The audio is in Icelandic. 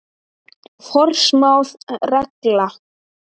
Forsmáð regla.